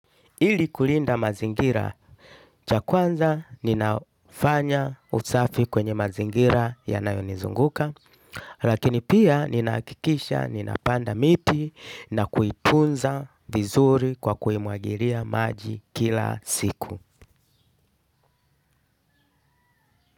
Ili kulinda mazingira, cha kwanza ninafanya usafi kwenye mazingira yanayonizunguka, lakini pia ninahakikisha, ninapanda miti na kuitunza vizuri kwa kuimwagilia maji kila siku.